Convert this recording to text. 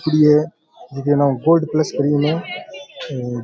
free है एकेनाऊ gold plus cream है हेर --